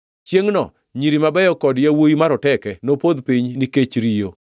“Chiengʼno “nyiri mabeyo kod yawuowi maroteke nopodh piny ni kech riyo.